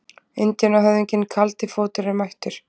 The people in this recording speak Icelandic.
Indíánahöfðinginn Kaldi fótur er mættur!